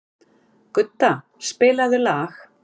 Gudda, spilaðu lag.